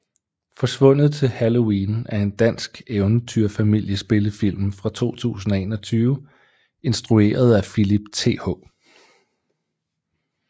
Forsvundet til Halloween er en dansk eventyr familie spillefilm fra 2021 instrueret af Philip Th